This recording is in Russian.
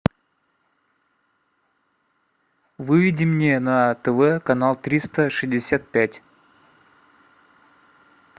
выведи мне на тв канал триста шестьдесят пять